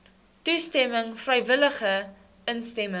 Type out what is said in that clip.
toestemming vrywillige instemming